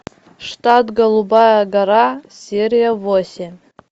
штат голубая гора серия восемь